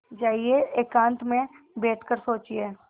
जाइए एकांत में बैठ कर सोचिए